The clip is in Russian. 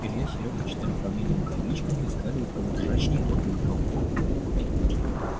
илья с серёгой читали фамилии на табличках искали у кого ржачней тот выиграл